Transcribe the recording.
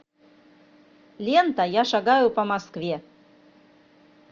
лента я шагаю по москве